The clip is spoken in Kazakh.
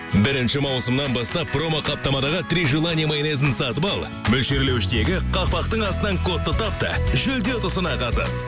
бірінші маусымнан бастап промоқаптамадағы три желание майонезін сатып ал мөлшерлеуіштегі қақпақтың астынан кодты тап та жүлде ұтысына қатыс